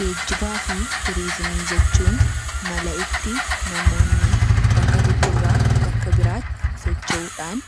Geejjibaa fi Turiizimii jechuun mala itti namoonni bakka tokko irraa bakka biraa tti socho'uu dhaan